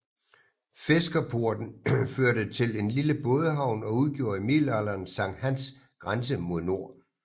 Fiskerporten førte til en lille bådehavn og udgjorde i middelalderen Sankt Hans grænse mod nord